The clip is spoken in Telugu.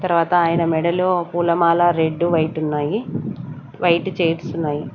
తర్వాత ఆయన మెడలో పూలమాల రెడ్డు వైటున్నాయి వైట్ చైర్స్ ఉన్నాయి.